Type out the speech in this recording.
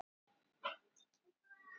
Ástrós, hvenær kemur vagn númer tíu?